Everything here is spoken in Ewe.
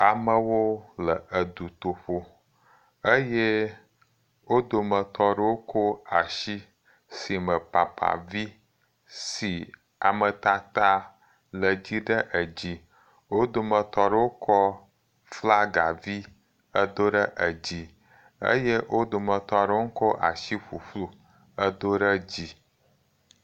Amewo le dutoƒo eye wo dometɔ aɖewo kɔ asi si me papavi si ametata le dze ɖe edzi. Wo dometɔ aɖewo kɔ flagavi edo ɖe edzi eye wo dometɔ aɖewo kɔ asiƒuƒlu edo ɖe dzi